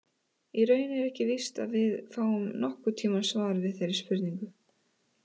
Í raun er ekki víst að við fáum nokkurn tíman svar við þeirri spurningu.